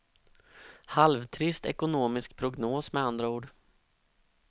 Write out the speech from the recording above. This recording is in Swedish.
Halvtrist ekonomisk prognos med andra ord.